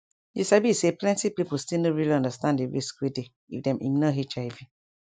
you sabi say plenti people still no really understand di risk wey dey if dem ignore hiv